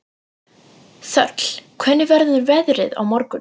Þöll, hvernig verður veðrið á morgun?